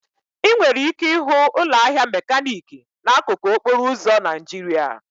Ị nwere ike ịhụ ụlọ ahịa mekaniki n'akụkụ okporo ụzọ Naijiria.